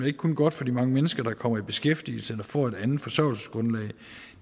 ikke kun godt for de mange mennesker der kommer i beskæftigelse eller får et andet forsørgelsesgrundlag